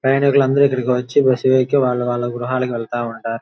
ప్రయాణికులు అందరూ ఇక్కడకి వచ్చి బస్సు ఎక్కి వాళ్ళు వాళ్ళ గృహాలకి వెళ్తూ ఉంటారు.